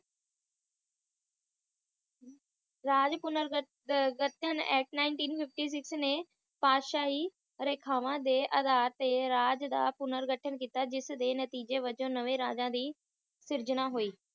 ਰਾਜ ਪੁਨਰ ਘਠ ਅਹ ਘਠਣ actNineteen fifty six ਨੇ ਪਾਤਸ਼ਾਹੀ ਰੇਖਾਵਾਂ ਦੇ ਅਧਾਰ ਤੇ ਰਾਜ ਦਾ ਪੁਨਰ ਗਠਨ ਕੀਤਾ ਜਿਸ ਦੇ ਨਤੀਜੇ ਵੱਜੋਂ ਨਾਵੈ ਰਾਜਾ ਸਿਰਜਣਾ ਹੋਇ